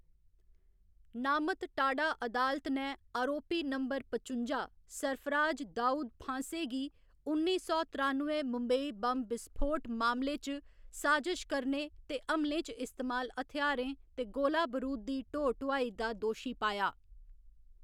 नामत टाडा अदालत ने आरोपी बंबर पचुंजा, सरफराज दाऊद फांसे गी उन्नी सौ त्रानुए मुंबई बम्ब बिसफोट मामले च, साजिश करने ते हमलें च इस्तेमाल हथ्यारें ते गोला बरूद दी ढो ढुआई दा दोशी पाया।